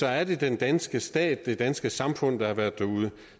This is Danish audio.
er det den danske stat det danske samfund der har været derude